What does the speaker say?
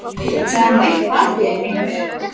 Það er nú eitthvað að þér, drengur!